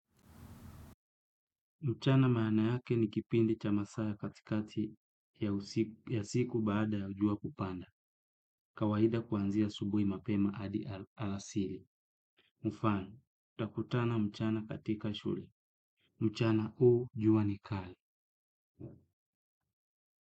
Mchana maana yake ni kipindi cha masaa ya katikati ya siku baada ya jua kupanda. Kawaida kuanzia asubuhi mapema hadi alasiri. Mfano, tutakutana mchana katika shule. Mchana huu jua ni kali.